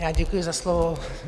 Já děkuji za slovo.